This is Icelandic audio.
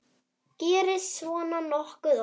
Gerist svona nokkuð oft?